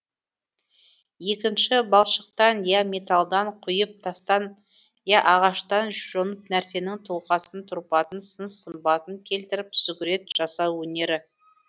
екінші балшықтан я металдан құйып тастан я ағаштан жонып нәрсенің тұлғасын тұрпатын сын сымбатын келтіріп сүгірет жасау өнері